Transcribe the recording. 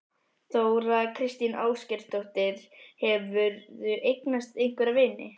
Þóra kristín Ásgeirsdóttir: Hefurðu eignast einhverja vini?